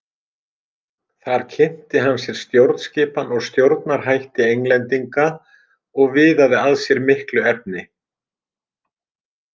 Þar kynnti hann sér stjórnskipan og stjórnarhætti Englendinga og viðaði að sér miklu efni.